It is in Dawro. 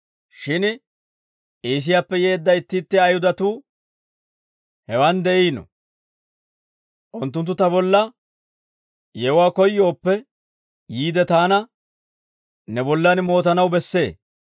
Shin Iisiyaappe yeedda itti itti Ayihudatuu hewaan de'iino; unttunttu ta bolla yewuwaa koyyooppe, yiide taana ne bollan mootanaw bessee.